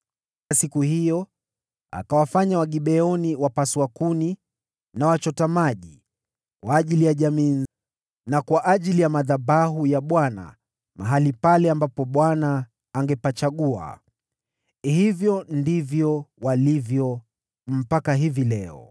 Siku hiyo Yoshua akawafanya Wagibeoni wapasua kuni na wachota maji kwa ajili ya jamii na kwa ajili ya madhabahu ya Bwana mahali pale ambapo Bwana angepachagua. Hivyo ndivyo walivyo hadi hivi leo.